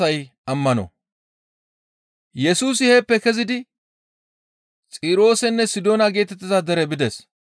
Yesusi heeppe kezidi Xiroosenne Sidoona geetettiza dere bides.